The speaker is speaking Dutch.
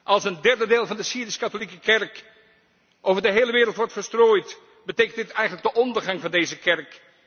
Als een derde deel van de Syrisch katholieke Kerk over de hele wereld wordt verstrooid, betekent dit eigenlijk de ondergang van deze